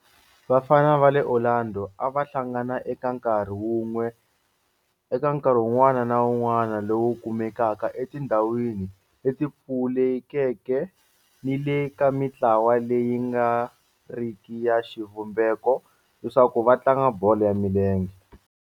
Vafana va le Orlando a va hlangana eka nkarhi wun'wana ni wun'wana lowu kumekaka etindhawini leti pfulekeke ni le ka mintlawa leyi nga riki ya xivumbeko leswaku va tlanga bolo ya milenge.